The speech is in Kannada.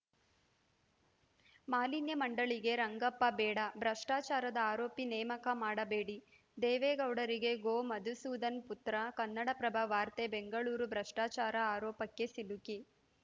ಮಾಲಿನ್ಯ ಮಂಡಳಿಗೆ ರಂಗಪ್ಪ ಬೇಡ ಭ್ರಷ್ಟಾಚಾರದ ಆರೋಪಿ ನೇಮಕ ಮಾಡಬೇಡಿ ದೇವೇಗೌಡರಿಗೆ ಗೋಮಧುಸೂದನ್‌ ಪುತ್ರ ಕನ್ನಡಪ್ರಭ ವಾರ್ತೆ ಬೆಂಗಳೂರು ಭ್ರಷ್ಟಾಚಾರ ಆರೋಪಕ್ಕೆ ಸಿಲುಕಿ